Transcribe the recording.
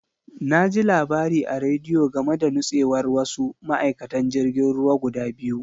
Na ji labari a rediyo game da nutsewar wasu ma'aikatan jirgin ruwa guda biyu.